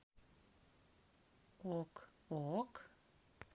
ок ок